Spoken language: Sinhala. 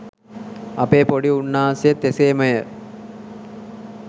අපේ පොඩි උන්නාසේත් එසේමය